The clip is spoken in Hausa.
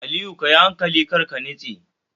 Aliyu kayi hankali karka nitse